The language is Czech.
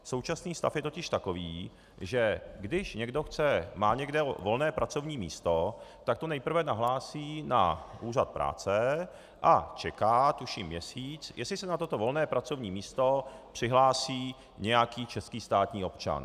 Současný stav je totiž takový, že když někdo má někde volné pracovní místo, tak to nejprve nahlásí na úřad práce a čeká, tuším měsíc, jestli se na toto volné pracovní místo přihlásí nějaký český státní občan.